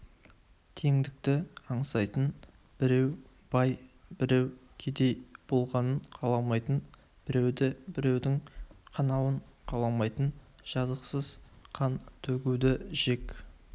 теңдікті аңсайтын біреу бай біреу кедей болғанын қаламайтын біреуді біреудің қанауын қаламайтын жазықсыз қан төгуді жек